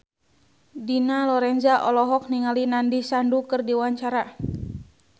Dina Lorenza olohok ningali Nandish Sandhu keur diwawancara